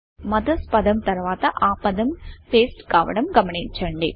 MOTHERSపేస్ట్ పదం తర్వాత ఆ పదం pasteపేస్ట్ కావడం గమనించండి